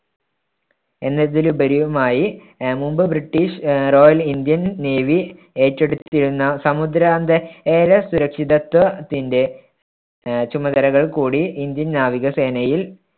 എന്നതിലുപരിയുമായി ആഹ് മുമ്പ് ബ്രിട്ടീഷ് ആഹ് റോയൽ ഇന്ത്യൻ നേവി ഏറ്റെടുത്തിരുന്ന സമുദ്രാന്തര സുരക്ഷിതത്വത്തിന്‍ടെ ആഹ് ചുമതലകൾ കൂടി ഇന്ത്യൻ നാവികസേനയിൽ